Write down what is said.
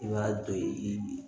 I b'a to ye i bi